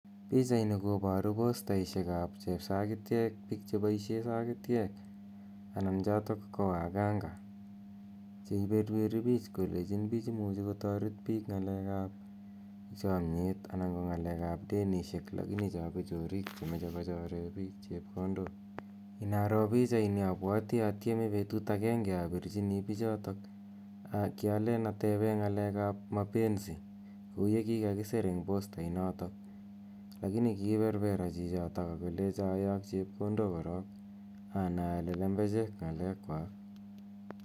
Pichaini koboru postaisiekab chepsakityek piik cheboisie sakityek, anan chotok ko wakanga cheiberberi pich kolechin pich imuchi kotoret piik ngalekab chomnyet anan ko ngalekab denisiek lakini cho ko chorik che moche kochore piik chepkondok. Inaroo pichaini abwati atyeme betut akenge abirchini pichotok, kyalen atebe ngalekab mapenzi kou ye kikakisir eng postainotok, lakini kiberbera chichito akolecha ayok chepkondok korok, anai ale lembechek ngalekwak.